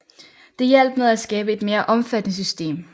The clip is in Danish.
Det hjalp med at skabe et mere omfattende system